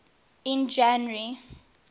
in january